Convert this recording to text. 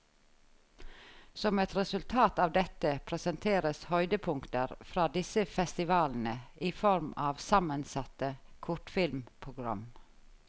Som et resultat av dette, presenteres høydepunkter fra disse festivalene i form av sammensatte kortfilmprogram.